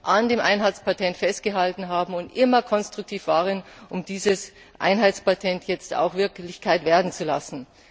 an dem Einheitspatent festgehalten haben und immer konstruktiv waren, um dieses Einheitspatent jetzt auch Wirklichkeit werden zu lassen.